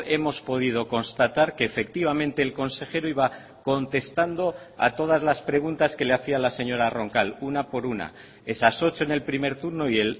hemos podido constatar que efectivamente el consejero iba contestando a todas las preguntas que le hacía la señora roncal una por una esas ocho en el primer turno y